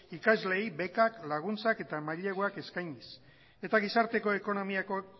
ikasleei bekak laguntzak eta maileguak eskainiz eta gizarteko ekonomiako